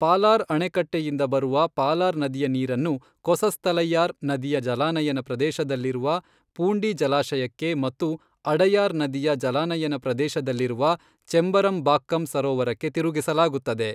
ಪಾಲಾರ್ ಅಣೆಕಟ್ಟೆಯಿಂದ ಬರುವ ಪಾಲಾರ್ ನದಿಯ ನೀರನ್ನು ಕೊಸಸ್ತಲೈಯಾರ್ ನದಿಯ ಜಲಾನಯನ ಪ್ರದೇಶದಲ್ಲಿರುವ ಪೂಂಡಿ ಜಲಾಶಯಕ್ಕೆ ಮತ್ತು ಅಡಯಾರ್ ನದಿಯ ಜಲಾನಯನ ಪ್ರದೇಶದಲ್ಲಿರುವ ಚೆಂಬರಂಬಾಕ್ಕಂ ಸರೋವರಕ್ಕೆ ತಿರುಗಿಸಲಾಗುತ್ತದೆ.